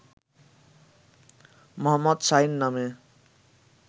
মো: শাহীন নামে